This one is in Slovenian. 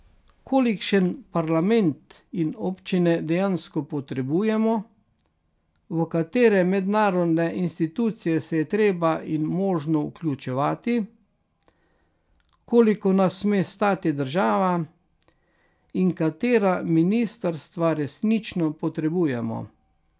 Kolikšen parlament in občine dejansko potrebujemo, v katere mednarodne institucije se je treba in možno vključevati, koliko nas sme stati država in katera ministrstva resnično potrebujemo.